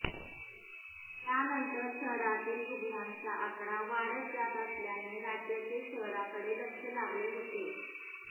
त्यानंतर शहरातील रुग्णांचा आकडा वाढत जात असल्याने राज्याचे शहराकडे लक्ष लागले होते